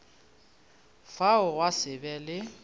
fao gwa se be le